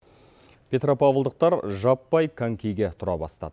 петропавлдықтар жаппай конькиге тұра бастады